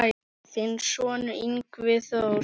Þinn sonur, Yngvi Þór.